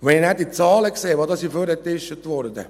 Wenn ich dann die Zahlen sehe, die herausgefischt wurden: